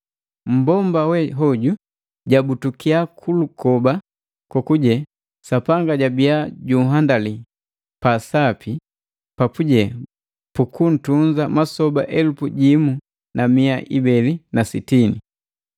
Mmbomba we hoju jabutukiya kulukoba kokuje Sapanga jabiya junhandali pa sapi papuje bukuntunza masoba elupu jimu na mia ibeli na sitini.